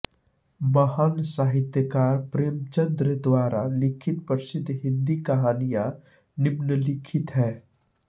महान साहित्यकार प्रेमचंद द्वारा लिखित प्रसिद्ध हिन्दी कहानियां निम्नलिखित हैं